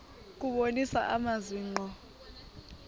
kubonisa amazwi ngqo